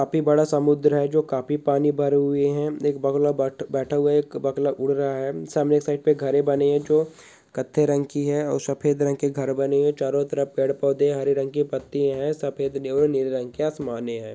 काफी बड़ा समुद्र है जो काफी पानी भरा हुए है एक बगुला बैठ-बैठा हुआ है एक बगला उड़ रहा है सामने की साइड पे घरे बने है जो कत्थई रंगी की है और सफ़ेद रंग के घर बने है चारो तरफ पेड़-पौधे है हरे रंग के पत्तिये है सेद और नीले रंग के आसमान है।